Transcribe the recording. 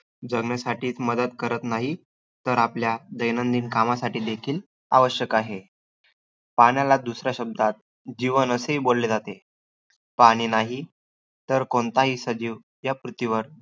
जगण्यासाठीचं मदत करत नाही, तर आपल्या दैनंदिन कमासाठी देखील आवश्यक आहे. पाण्याला दुसऱ्या शब्दात जीवन असेही बोलले जाते. पाणी नाही तर कोणताही सजीव या पृथ्वीवर